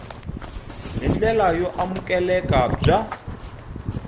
hi ndlela yo amukeleka bya